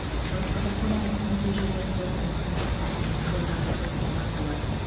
шығыс қазақстан облысының кей жерлерінде тұман бұрқасын жолдарда көктайғақ болады